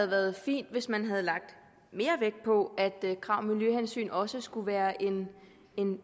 været fint hvis man havde lagt mere vægt på at krav om miljøhensyn også skulle være en